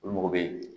U mago bɛ